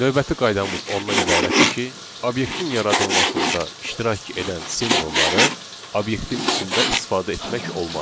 Növbəti qaydamız ondan ibarətdir ki, obyektin yaradılmasında iştirak edən simvolları obyektin içində istifadə etmək olmaz.